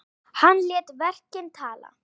Hann lét verkin tala.